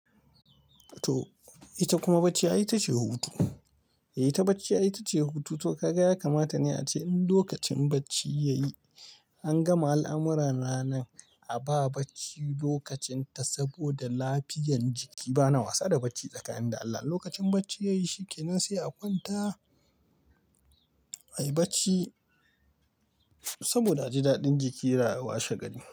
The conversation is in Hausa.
To ita kuma bacci ai ita ce hutu. Ita bacci ai ita ce hutu. To ka ga ya kamata ne ace in lokacin bacci ya yi an gama al'amurra na ranan a ba bacci lokacin ta saboda lafiyan jiki bana wasa da bacci tsakani da Allah. Lokacin bacci ya yi shike nan sai a kwanta, a yi bacci saboda aji daɗin jiki ra washe gari.